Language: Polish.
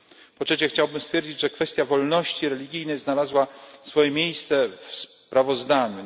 Po trzecie, chciałbym stwierdzić, że kwestia wolności religijnej znalazła swoje miejsce w sprawozdaniu.